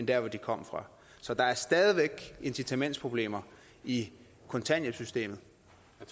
der hvor de kommer fra så der er stadig væk incitamentsproblemer i kontanthjælpssystemet